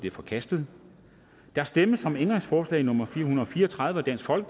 er forkastet der stemmes om ændringsforslag nummer fire hundrede og fire og tredive af df og